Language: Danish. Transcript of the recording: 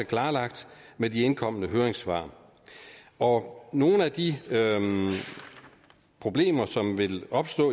klarlagt med de indkomne høringssvar nogle af de problemer som vil opstå